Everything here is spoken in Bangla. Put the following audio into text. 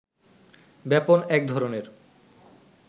ব্যাপন এক ধরনের